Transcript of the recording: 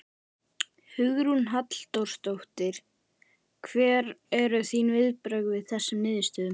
Hugrún Halldórsdóttir: Hver eru þín viðbrögð við þessum niðurstöðum?